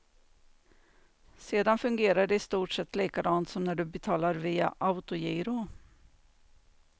Sedan fungerar det i stort sett likadant som när du betalar via autogiro.